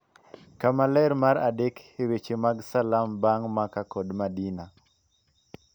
kama ler mar adek e weche mag Salam bang' Maka kod Madina,